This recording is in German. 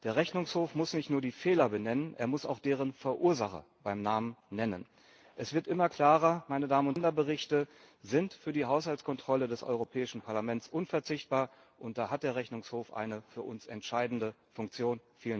Der Rechnungshof muss nicht nur die Fehler benennen, er muss auch deren Verursacher beim Namen nennen. Es wird immer klarer Länderberichte sind für die Haushaltskontrolle des Europäischen Parlaments unverzichtbar, und da hat der Rechnungshof eine für uns entscheidende Funktion.